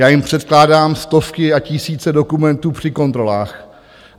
Já jim předkládám stovky a tisíce dokumentů při kontrolách.